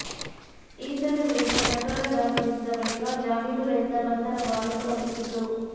ಈತನ ವಿರುದ್ಧ ಪ್ರಕರಣ ದಾಖಲಿಸಿದ ಬಳಿಕ ಜಾಮೀನು ರಹಿತ ಬಂಧನ ವಾರಂಟ್ ಹೊರಡಿಸಿತ್ತು